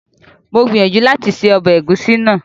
Mo gbìyànjú láti ṣe ọbẹ̀ ẹ̀gúsí náà